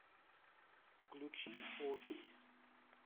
включи окись